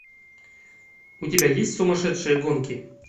у тебя есть сумасшедшие гонки